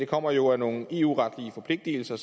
kommer jo af nogle eu retlige forpligtelser